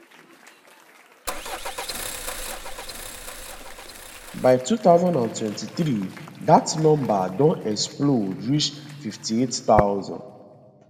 by 2023 dat number don explode reach 58000